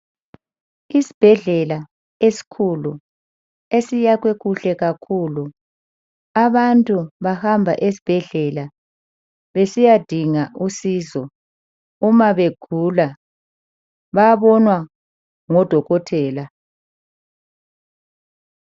Isbhedlela eskhulu esiyakwe kuhle kakhulu. Abantu bahamba edbheslela besiyadinga usizo umabegula. Bayabonwa ngodokotela.